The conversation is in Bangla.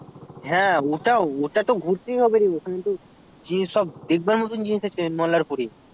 হ্যাঁ ওটা ওটা তো ঘুরতেই হবে রে এখন যদি যে সব দেখবার মতো জিনিস আছে মলারপুর এ